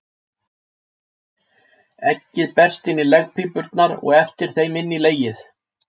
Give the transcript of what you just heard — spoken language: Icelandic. Eggið berst inn í legpípurnar og eftir þeim inn í legið.